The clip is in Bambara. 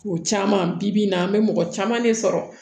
O caman bi bi in na an bɛ mɔgɔ caman de sɔrɔ